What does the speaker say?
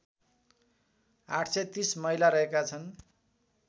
८३० महिला रहेका छन्